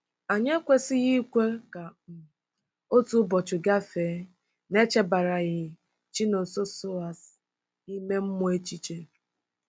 Anyị ekwesịghị ikwe ka um otu ụbọchị gafee n'echebaraghị Chinonsoers ime mmụọ echiche.